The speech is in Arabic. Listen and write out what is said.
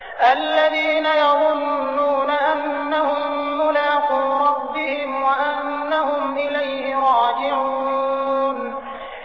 الَّذِينَ يَظُنُّونَ أَنَّهُم مُّلَاقُو رَبِّهِمْ وَأَنَّهُمْ إِلَيْهِ رَاجِعُونَ